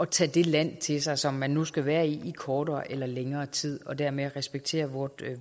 tage det land til sig som man nu skal være i i kortere eller længere tid og dermed respektere vores